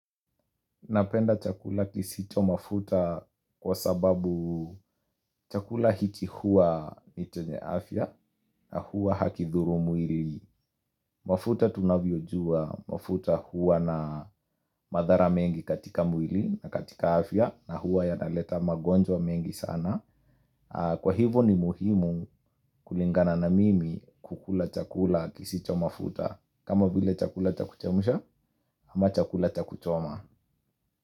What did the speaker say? Napenda chakula kisicho mafuta kwa sababu chakula hiki huwa ni chenye afya na hua hakidhuru mwili. Mafuta tunavyojua, mafuta hua na madhara mengi katika mwili na katika afya na huwa yanaleta magonjwa mengi sana. Kwa hivu ni muhimu kulingana na mimi kukula chakula kisicho mafuta. Kama vile chakula cha kuchemsha ama chakula cha kuchoma.